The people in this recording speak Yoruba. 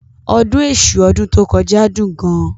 Ọdún Èṣù ọdún tó kọjá dún gan.